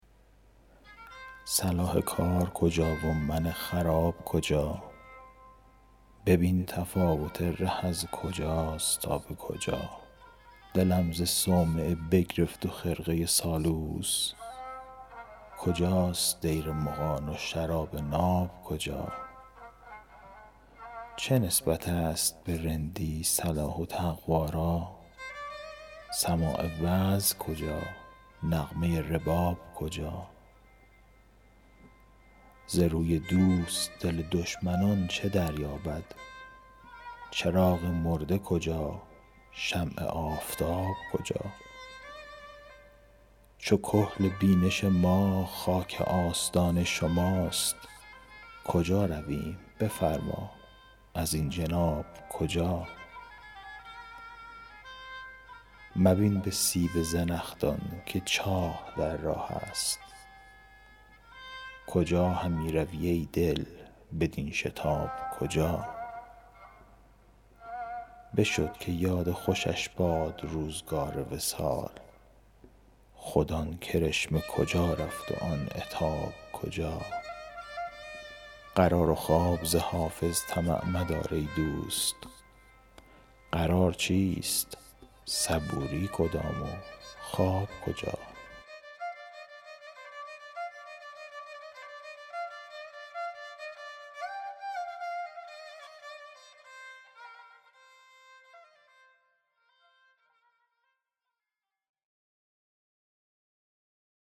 صلاح کار کجا و من خراب کجا ببین تفاوت ره کز کجاست تا به کجا دلم ز صومعه بگرفت و خرقه سالوس کجاست دیر مغان و شراب ناب کجا چه نسبت است به رندی صلاح و تقوا را سماع وعظ کجا نغمه رباب کجا ز روی دوست دل دشمنان چه دریابد چراغ مرده کجا شمع آفتاب کجا چو کحل بینش ما خاک آستان شماست کجا رویم بفرما ازین جناب کجا مبین به سیب زنخدان که چاه در راه است کجا همی روی ای دل بدین شتاب کجا بشد که یاد خوشش باد روزگار وصال خود آن کرشمه کجا رفت و آن عتاب کجا قرار و خواب ز حافظ طمع مدار ای دوست قرار چیست صبوری کدام و خواب کجا